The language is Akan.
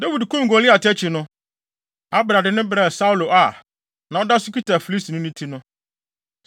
Dawid kum Goliat akyi no, Abner de no brɛɛ Saulo a na ɔda so kita Filistini no ti no.